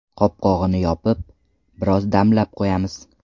Qopqog‘ini yopib, biroz damlab qo‘yamiz.